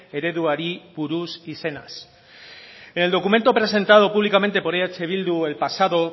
ereduari buruz izenaz en el documento presentado públicamente por eh bildu el pasado